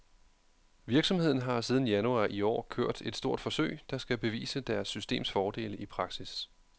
Virksomheden har siden januar i år kørt et stort forsøg, der skal bevise deres systems fordele i praksis.